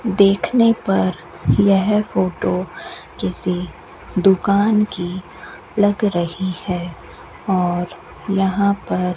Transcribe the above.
देखने पर यह फोटो किसी दुकान की लग रही है और यहां पर --